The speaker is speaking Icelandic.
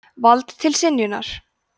vald til synjunar laga